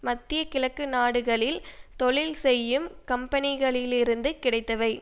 மத்திய கிழக்கு நாடுகளில் தொழில் செய்யும் கம்பனிகளிலிருந்து கிடைத்தவை